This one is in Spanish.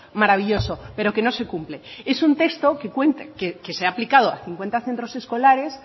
maravilloso pero que no se cumple es un texto que se ha aplicado a cincuenta centros escolares